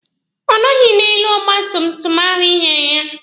Ọ nọghị n'elu ọgba tum tum ahụ Ị nyere ya.